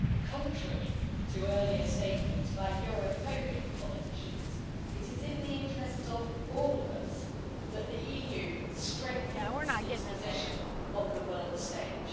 Contrary to earlier statements by europhobic politicians, it is in the interests of all of us that the EU strengthens its position on the world stage.